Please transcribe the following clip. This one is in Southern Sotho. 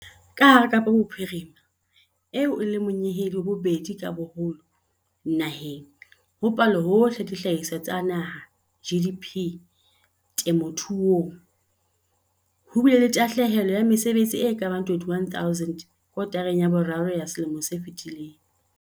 Ka hara Kapa Bophirima, eo e leng monyehedi wa bobedi ka boholo naheng ho Palohohle ya Dihlahiswa tsa Naha, GDP, temothuong, ho bile le tahle helo ya mesebetsi e ka bang 21 000 kotareng ya boraro ya selemo se fetileng.